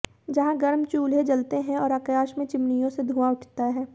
जहां गर्म चूल्हे जलते हैं और आकाश में चिमनियों से धुआं उठता है